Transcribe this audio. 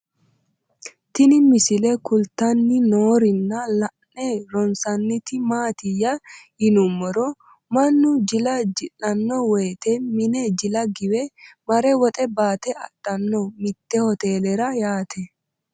Tinni misile kulittanni noorrinna la'ne ronisaniti maattiya yinummoro mannu jila ji'lianno woyiitte mine jilla giwe mare woxxe baatte adhanno mitte hotelera yatte